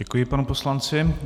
Děkuji panu poslanci.